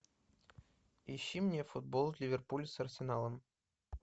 ищи мне футбол ливерпуль с арсеналом